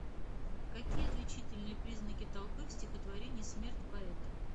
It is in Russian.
какие отличительные признаки толпы в стихотворении смерть поэта